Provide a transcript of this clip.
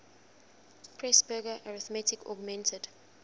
presburger arithmetic augmented